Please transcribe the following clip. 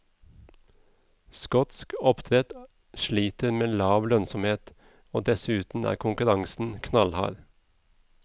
Skotsk oppdrett sliter med lav lønnsomhet, og dessuten er konkurransen knallhard.